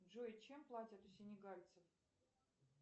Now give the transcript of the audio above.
джой чем платят у синегальцев